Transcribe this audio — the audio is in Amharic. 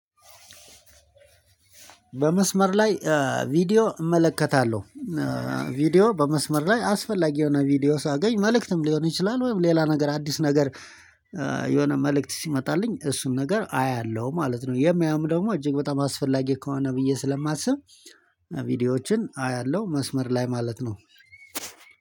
በመስመር ላይ ቪዲዮ እመለከታለሁ። ቪዲዮ በመስመር ላይ አስፈላጊ የሆነ ቪዲዮ ሳገኝ መልእክትም ሊሆን ይችላል ወይም ሌላ ነገር አዲስ ነገር የሆነ መልእክት ሲመጣልኝ እሱን ነገር አያለሁ ማለት ነው። የማየውም ደግሞ እጅግ በጣም አስፈላጊ ከሆነ ብዬ ስለማስብ ቪዲዮዎችን አያለሁ መስመር ላይ ማለት ነው።